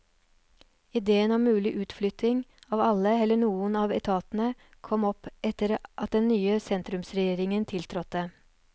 Idéen om mulig utflytting av alle eller noen av etatene kom opp etter at den nye sentrumsregjeringen tiltrådte.